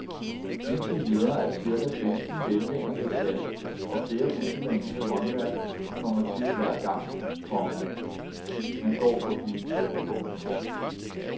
Indtil videre er cirka femten hvælvinger besat og flere usædvanlige håndværk kommer til hver gang, komma man går forbi. punktum